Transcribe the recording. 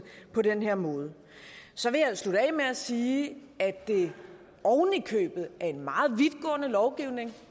på den her måde så vil jeg slutte af med at sige at det oven i købet er en meget vidtgående lovgivning